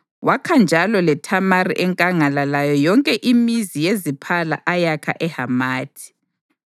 Wakha njalo leThamari enkangala layo yonke imizi yeziphala ayakha eHamathi.